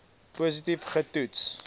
positief ge toets